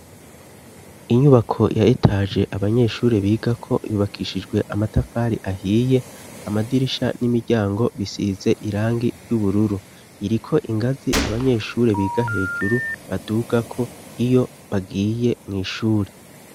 Inyubako yahitaje abanyeshuri bigako yubakishijwe amatafari ahiye amadirisha n'imiryango bisize irangi ry'ubururu iriko ingazi abanyeshure biga hejuru badugako iyo bagiye mw'ishure.